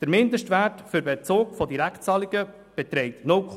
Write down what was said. Der Mindestwert für einen Bezug von Direktzahlungen beträgt 0,2 SAK.